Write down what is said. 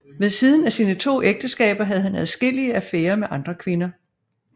Ved siden af sine to ægteskaber havde han adskillige affærer med andre kvinder